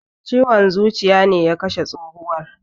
Ciwon zuciya ne ya kashe tsohuwan.